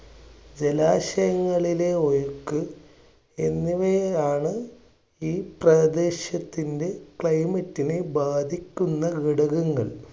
ജലാശയങ്ങളിലെ ഒഴുക്ക് എന്നിവയെയാണ് ഈ പ്രദേശത്തിൻ്റെ climate നെ ബാധിക്കുന്ന ഘടകങ്ങൾ.